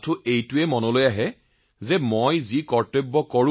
আমি কেৱল আমাৰ কৰ্তব্য কৰো